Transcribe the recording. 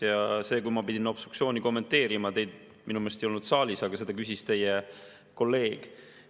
Ja siis, kui ma pidin obstruktsiooni kommenteerima, teid minu meelest ei olnud saalis, aga seda küsis teie kolleeg.